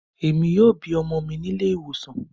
Emi yoo bi ọmọ mi ni ile-iwosan